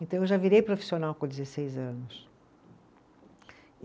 Então eu já virei profissional com dezesseis anos.